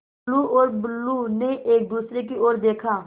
टुल्लु और बुल्लु ने एक दूसरे की ओर देखा